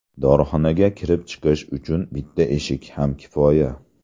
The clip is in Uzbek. Dorixonaga kirib-chiqish uchun bitta eshik ham kifoya.